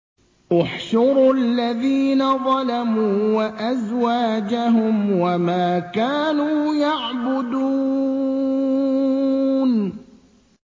۞ احْشُرُوا الَّذِينَ ظَلَمُوا وَأَزْوَاجَهُمْ وَمَا كَانُوا يَعْبُدُونَ